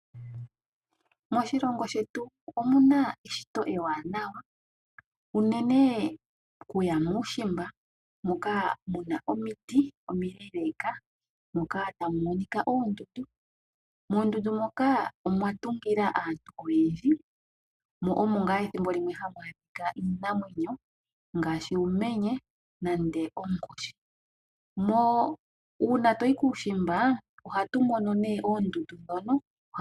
Moshilongo shetu omuna eshito ewanawa unene okuya muushimba moka muna omiti omile moka tamu monika oondundu. Moondundu moka omwa tungila aantu oyendji mo omo ngaa ethimbolimwe hamu adhika uunamwenyo ngaashi uumenye nenge onkoshi. Uuna toyi kuushimba ohatu mono nee oondundu ndhono.